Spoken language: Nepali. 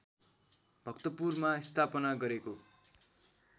भक्तपुरमा स्थापना गरेको